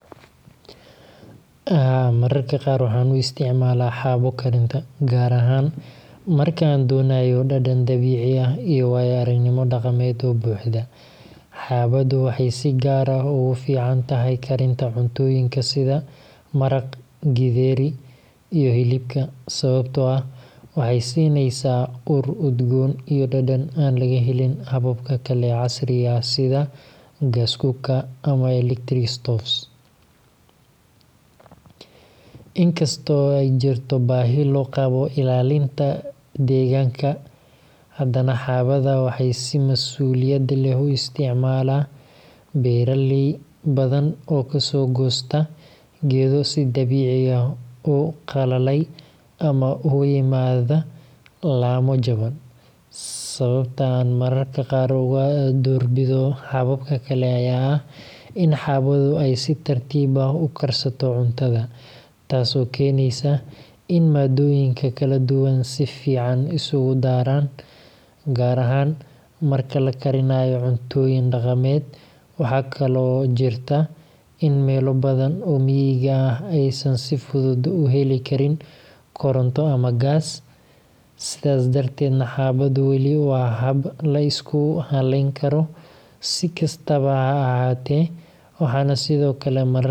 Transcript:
Haa, mararka qaar waxaan u isticmaalaa xaabo karinta, gaar ahaan marka aan doonayo dhadhan dabiici ah iyo waayo-aragnimo dhaqameed oo buuxda. Xaabadu waxay si gaar ah ugu fiican tahay karinta cuntooyinka sida maraq, githeri, iyo hilibka, sababtoo ah waxay siinaysaa ur udgoon iyo dhadhan aan laga helin hababka kale ee casriga ah sida gas cookers ama electric stoves. In kasta oo ay jirto baahi loo qabo ilaalinta deegaanka, hadana xaabada waxaa si masuuliyad leh u isticmaala beeraley badan oo kasoo goosta geedo si dabiici ah u qalalay ama uga yimaada laamo jaban. Sababta aan mararka qaar uga doorbido hababka kale ayaa ah in xaabadu ay si tartiib ah u karsato cuntada, taasoo keenaysa in maaddooyinka kala duwan si fiican isugu daraan, gaar ahaan marka la karinayo cuntooyin dhaqameed. Waxaa kaloo jirta in meelo badan oo miyiga ah aysan si fudud u heli karin koronto ama gaas, sidaas darteedna xaabadu weli waa hab la isku halleyn karo. Si kastaba ha ahaatee, waxaan sidoo kale mararka qaar.